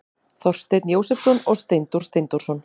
Þorsteinn Jósepsson og Steindór Steindórsson.